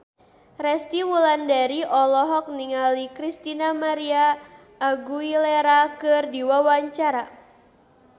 Resty Wulandari olohok ningali Christina María Aguilera keur diwawancara